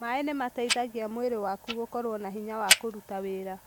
Maji husaidia mwili wako kuwa na nguvu ya kufanya kazi.